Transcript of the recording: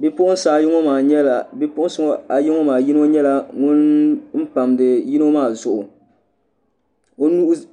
Bipuɣunsi ayi ŋo maa yino nyɛla ŋun pamdi yino maa zuɣu